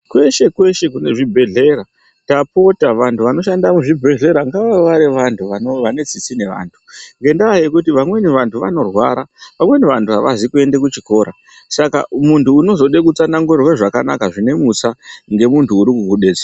Kweshe kweshe tapota vantu vanoshanda muzvibhehlera ngavavewo vari vantu vane tsitsi nevantu ngenda yekuti amweni vantu vanorwara vamweni vantu avazi kuende kuchikora saka muntu unozode kutsanangurirwe zvakanaka zvine mutsaa ngemuntu uri kukudetsera.